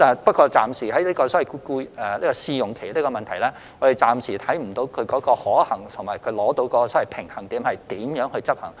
不過，就設立試用期而言，我們暫時看不到其可行性和如何能在執行上取得平衡。